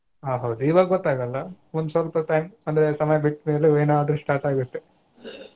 ಹಾ ಹೌದು ಇವಾಗ ಗೊತ್ತಾಗಲ್ಲ ಒಂದ್ ಸ್ವಲ್ಪ time ಅಂದ್ರೆ ಸಮಯ ಬಿಟ್ಟ ಮೇಲೆ ಏನಾದ್ರೂ start ಆಗುತ್ತೆ.